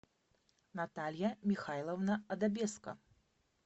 наталья михайловна адобеско